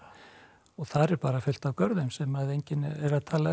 og þar er bara fullt af görðum sem enginn er að tala um